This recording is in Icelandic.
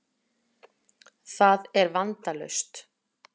Það er vandalaust.